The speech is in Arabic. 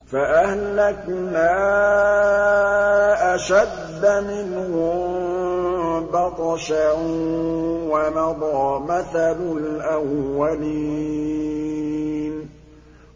فَأَهْلَكْنَا أَشَدَّ مِنْهُم بَطْشًا وَمَضَىٰ مَثَلُ الْأَوَّلِينَ